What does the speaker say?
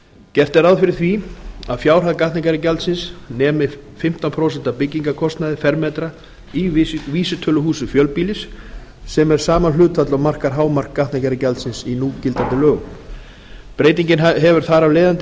gert er ráð fyrir að fjárhæð gatnagerðargjaldsins nemi fimmtán prósent af byggingarkostnaði fermetra í vísitöluhúsi fjölbýlis sem er sama hlutfall og markar hámark gatnagerðargjaldsins í núgildandi lögum breytingin hefur þar af leiðandi